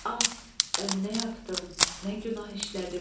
Ah, bən nə yapdım, nə günah işlədim.